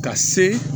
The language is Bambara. Ka se